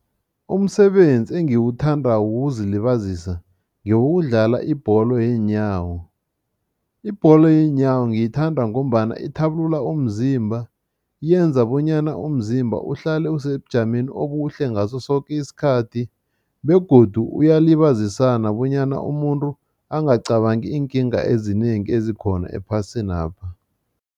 Umsebenzi engiwuthandako wokuzilibazisa ngewokudlala ibholo yeenyawo. Ibholo yeenyawo ngiyithanda ngombana ithabulula umzimba, yenza bonyana umzimba uhlale usebujameni obuhle ngaso soke isikhathi begodu uyalibazisana bonyana umuntu angacabangi iinkinga ezinengi ezikhona ephasinapha.